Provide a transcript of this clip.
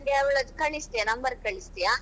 ಅವಳದ್ದು ನಂಗೆ ಅವಳದ್ದು ಕಳಿಸ್ತಿಯಾ number ಕಳಿಸ್ತಿಯಾ?